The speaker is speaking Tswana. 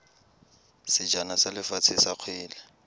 sejana sa lefatshe sa kgwele